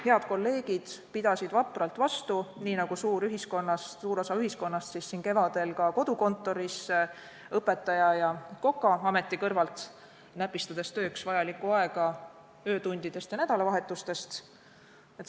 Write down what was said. Head kolleegid pidasid vapralt vastu, nii nagu suur osa meie ühiskonnast, töötasime kevadel ka kodukontoris õpetaja- ja kokaameti kõrvalt, näpistades tööks vajalikku aega öötundidest ja nädalavahetustest.